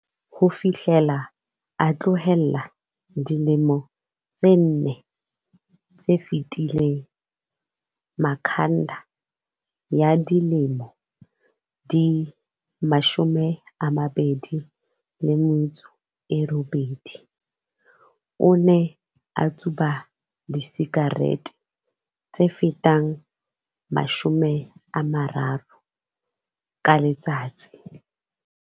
Ho fihlela a tlohela dilemong tse nne tse fetileng, Makhanda, ya dilemo di 28, o ne a tsuba disikarete tse fetang 30 ka letsatsi.